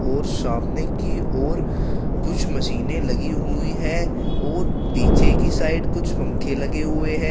और सामने की और कुछ मशीनें लगी हुई हैं और पीछे की साइड कुछ पंखे लगे हुए हैं।